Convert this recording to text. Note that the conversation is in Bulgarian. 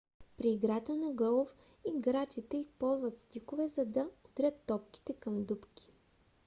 при играта на голф играчите използват стикове за да удрят топките към дупки